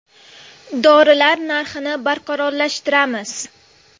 Dorilar narxini barqarorlashtiramiz.